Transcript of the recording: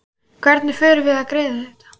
Hvernig förum við að því að greiða þetta?